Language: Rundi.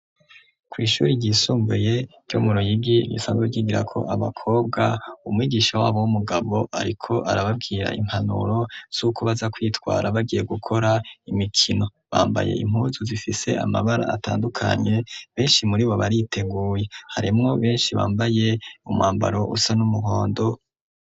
Kw'ishuri ryisumbuye ryo muroyigi imisanzu ryigira ko abakobwa umwigisha wabo w'umugabo, ariko arababwira impanuro z'uku baza kwitwara bagiye gukora imikino bambaye impuzu zifise amabara atandukanye benshi muri bo bariteguye harimwo benshi bambaye umwambaro usa n'umwe mwando.